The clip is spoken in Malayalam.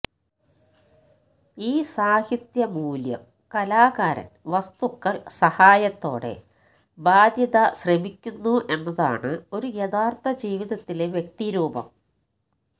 ഈ സാഹിത്യ മൂല്യം കലാകാരൻ വസ്തുക്കൾ സഹായത്തോടെ ബാധ്യത ശ്രമിക്കുന്നു എന്നതാണ് ഒരു യഥാർത്ഥ ജീവിതത്തിലെ വ്യക്തി രൂപം